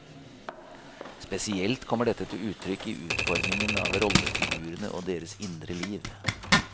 Spesielt kommer dette til uttrykk i utformingen av rollefigurene og deres indre liv.